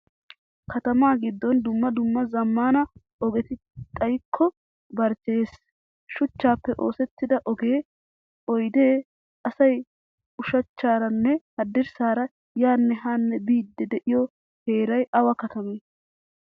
Katama giddon dumma dumma zamaana ogetti xayikko barchcheyees. Shuchchappe oosettida ogee, oydde, asay ushshachcharanne hadirssaara yaane haane biidi de'iyo heeray awa katamay?